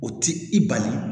O ti i bali